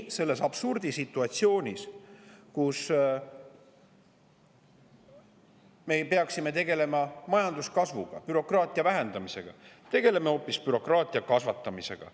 Selles absurdisituatsioonis, kus me peaksime tegelema majanduskasvuga ja bürokraatia vähendamisega, tegeleme hoopis bürokraatia kasvatamisega.